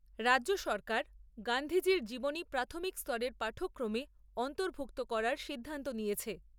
রাজ্য সরকার গান্ধীজির জীবনী প্রাথমিক স্তরের পাঠ্যক্রমে অন্তর্ভূক্ত করার সিদ্ধান্ত নিয়েছে।